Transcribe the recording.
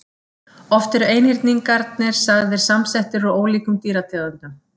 Oft eru einhyrningarnir sagðir samsettir úr ólíkum dýrategundum.